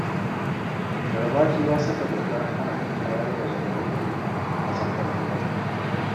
Garbati ya saka dokar hana tayar da janareto a tsakar gida